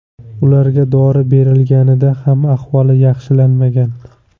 Ularga dori berilganida ham ahvoli yaxshilanmagan.